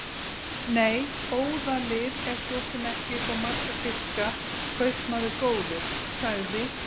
Nei, óðalið er svo sem ekki upp á marga fiska, kaupmaður góður, sagði